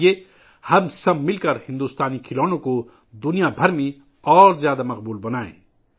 آئیے ، ہم سب مل کر بھارتی کھلونوں کو پوری دنیا میں مزید مقبول بنائیں